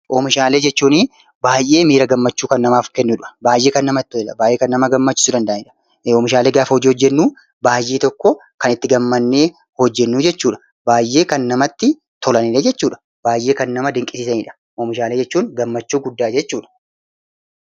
Oomishaalee jechuun baay'ee miira gammachuu kan namaaf kennudha! Baay'ee kan namatti tolanidha! Baay'ee kan nama gammachiisu danda'anidha! Oomishaalee hojii gaafa hojjennu baay'ee tokko kan itti gammannee hojjennu jechuudha. Baay'ee kan namatti tolanidha jechuudha. Baay'ee kan nama dinqisiisanidha! Oomishaalee jechuun gammachuu guddaa jechuudha.